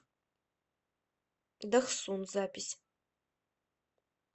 дохсун запись